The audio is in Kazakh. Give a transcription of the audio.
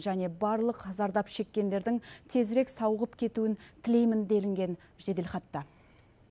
және барлық зардап шеккендердің тезірек сауығып кетуін тілеймін делінген жеделхатта